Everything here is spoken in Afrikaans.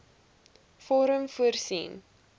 vorm voorsien